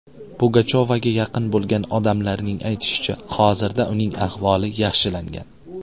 Pugachovaga yaqin bo‘lgan odamlarning aytishicha, hozirda uning ahvoli yaxshilangan.